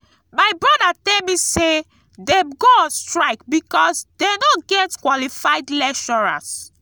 my broda tell me say dem go on strike because dey no get qualified lecturers